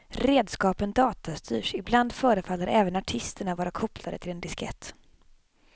Redskapen datastyrs, ibland förefaller även artisterna vara kopplade till en diskett.